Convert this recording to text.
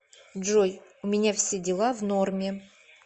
джой у меня все дела в норме